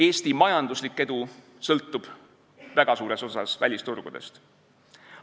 Eesti majanduslik edu sõltub väga suures osas välisturgudest.